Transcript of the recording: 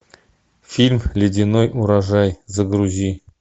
фильм ледяной урожай загрузи